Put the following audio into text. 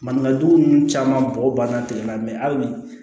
Maninkajugu ninnu caman bɔgɔ banna kelen na ali bi